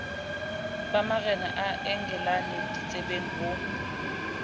ba marena a engelane ditsebengho